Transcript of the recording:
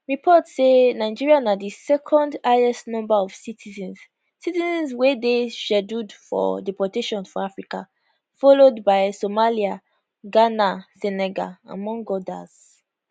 reports say nigeria na di second highest number of citizens citizens wey dey scheduled for deportation for africa followed by somalia ghana senegal among odas